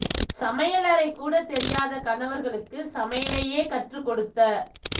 சமையலறை கூட தெரியாத கணவர்களுக்கு சமையலையே கற்று கொடுத்த